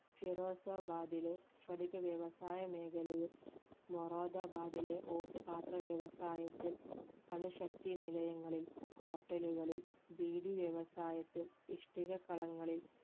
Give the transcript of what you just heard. ഫിറോസബാദിലെ സ്പടിക വ്യവസായ മേഖലയിൽ മൊറാദബാധയിലെ ഓട്ടു പാത്രവ്യവസായത്തിൽ അണുശക്തി നിലയങ്ങളിൽ hotel കളിൽ ബീഡി വ്യവസായത്തിൽ ഇഷ്ടിക കളങ്ങളിൽ